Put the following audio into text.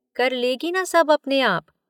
कर लेगी न सब अपने आप।